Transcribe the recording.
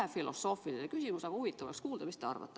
Veidi filosoofiline küsimus, aga huvitav oleks kuulda, mida te arvate.